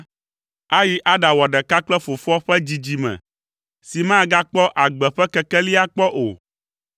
ayi aɖawɔ ɖeka kple fofoa ƒe dzidzime si magakpɔ agbe ƒe kekeli akpɔ o.